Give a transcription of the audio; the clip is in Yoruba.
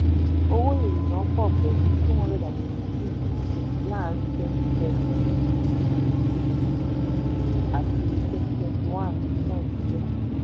owó ìrìnnà pọ̀ pẹ̀lú two hundred and eighty six percent láàárín twenty seventeen àti twenty twenty one ní nàìjíríà.